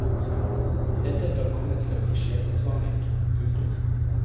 Dette skal komme til å bli skjebnesvangert. punktum